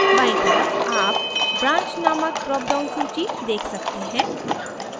बायीं तरफ आप branch नामक drop down सूची देख सकते हैं